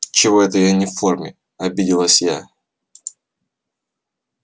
чего это я не в форме обиделась я